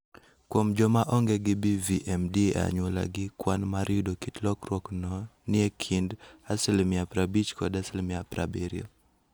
Kuom joma onge gi BVMD e anyuolagi, kwan mar yudo kit lokruokno ni e kind 50 kod 70%.